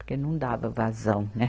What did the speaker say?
Porque não dava vazão, né?